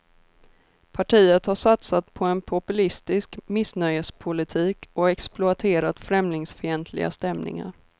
Partiet har satsat på en populistisk missnöjespolitik och exploaterat främlingsfientliga stämningar.